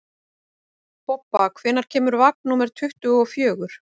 Bobba, hvenær kemur vagn númer tuttugu og fjögur?